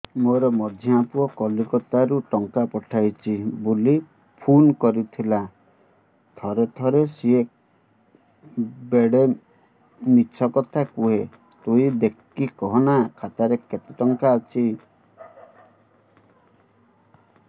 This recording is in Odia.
ମୋର ମଝିଆ ପୁଅ କୋଲକତା ରୁ ଟଙ୍କା ପଠେଇଚି ବୁଲି ଫୁନ କରିଥିଲା ଥରେ ଥରେ ସିଏ ବେଡେ ମିଛ କଥା କୁହେ ତୁଇ ଦେଖିକି କହନା ଖାତାରେ କେତ ଟଙ୍କା ଅଛି